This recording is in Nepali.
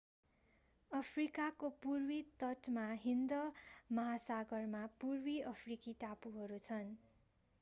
अफ्रिकाको पूर्वी तटमा हिन्द महासागरमा पूर्वी अफ्रिकी टापुहरू छन्